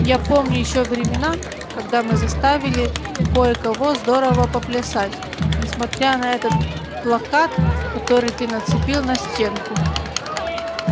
я помню ещё времена когда мы заставили кое-кого здорово поплясать несмотря на этот плакат который ты нацепил на стенку